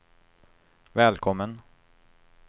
välkommen